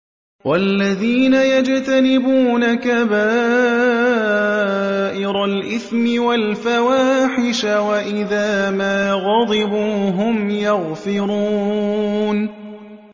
وَالَّذِينَ يَجْتَنِبُونَ كَبَائِرَ الْإِثْمِ وَالْفَوَاحِشَ وَإِذَا مَا غَضِبُوا هُمْ يَغْفِرُونَ